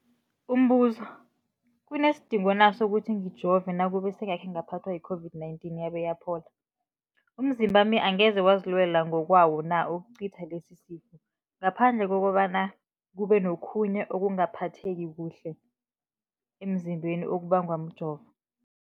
Umbuzo, kunesidingo na sokuthi ngijove nakube sengakhe ngaphathwa yi-COVID-19 yabe yaphola? Umzimbami angeze wazilwela ngokwawo na ukucitha lesisifo, ngaphandle kobana kube nokhunye ukungaphatheki kuhle emzimbeni okubangwa mjovo?